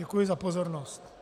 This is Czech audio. Děkuji za pozornost.